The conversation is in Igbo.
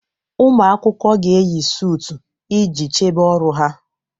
Ụmụ akwụkwọ ga-eyi suut iji chebe ọrụ ha